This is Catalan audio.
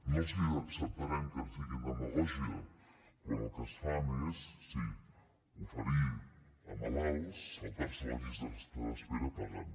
no els acceptarem que ens diguin demagògia quan el que fan és sí oferir a malalts saltar se la llista d’espera pagant